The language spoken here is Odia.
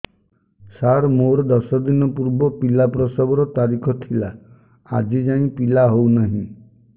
ସାର ମୋର ଦଶ ଦିନ ପୂର୍ବ ପିଲା ପ୍ରସଵ ର ତାରିଖ ଥିଲା ଆଜି ଯାଇଁ ପିଲା ହଉ ନାହିଁ